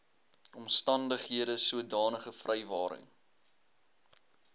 omstandighede sodanige vrywaring